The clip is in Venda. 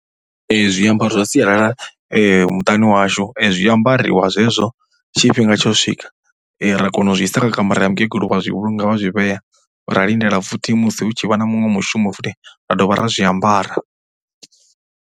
Zwiambaro zwa sialala muṱani washu zwi ambariwa zwezwo tshifhinga tsho swika ra kona u zwi isa kha kamara ya mukegulu vha zwi vhulunga vha zwi vhea. Ra lindela futhi musi hu tshi vha na muṅwe mushumo futhi ra dovha ra zwiambara.